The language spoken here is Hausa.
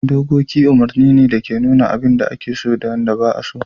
Dokoki umarni ne da ke nuna abin da ake so da wanda ba'a so.